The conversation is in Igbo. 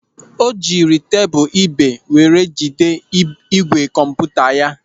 O jiri tebụl ibé were jide ígwè kọmputa ya.